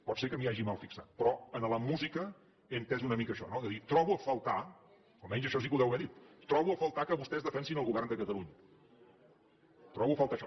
pot ser que m’hi hagi malfixat però en la música he entès una mica això no de dir trobo a faltar almenys això sí que ho deu haver dit que vostès defensin el govern de catalunya trobo a faltar això